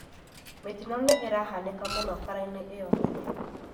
Mĩtino nĩ ĩrahanĩka mũno barabara-inĩ iyo nene